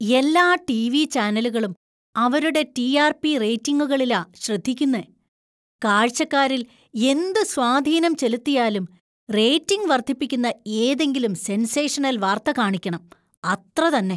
എല്ലാ ടിവി ചാനലുകളും അവരുടെ ടി.ആർ.പി.റേറ്റിംഗുകളിലാ ശ്രദ്ധിക്കുന്നെ. കാഴ്ചക്കാരിൽ എന്തു സ്വാധീനം ചെലുത്തിയാലും റേറ്റിംഗ് വർദ്ധിപ്പിക്കുന്ന ഏതെങ്കിലും സെൻസേഷണൽ വാർത്ത കാണിക്കണം, അത്രതന്നെ.